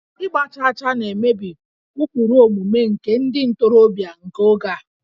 Ịgba chaachaa na-emebi ụkpụrụ omume nke ndị ntorobịa nke oge a